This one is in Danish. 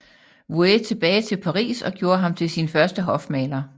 Vouet tilbage til Paris og gjorde ham til sin første hofmaler